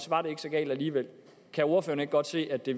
var det ikke så galt alligevel kan ordføreren ikke godt se at det